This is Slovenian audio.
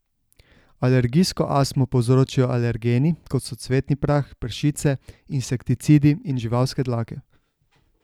Alergijsko astmo povzročijo alergeni, kot so cvetni prah, pršice, insekticidi in živalske dlake.